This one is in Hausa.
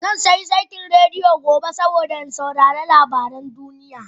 Zan sayi saitin rediyo gobe domin in saurari labaran duniya